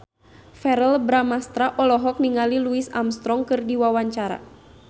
Verrell Bramastra olohok ningali Louis Armstrong keur diwawancara